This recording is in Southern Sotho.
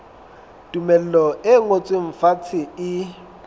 tumello e ngotsweng fatshe e